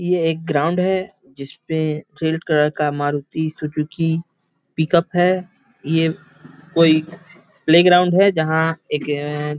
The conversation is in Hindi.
ये एक ग्राउंड है जिसपे फील्ड तरह का मारुती सुजुकी पिक-अप है ये कोई प्ले ग्राउंड है जहाँ एक --